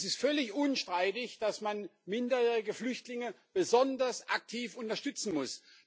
Es ist völlig unstreitig, dass man minderjährige Flüchtlinge besonders aktiv unterstützen muss.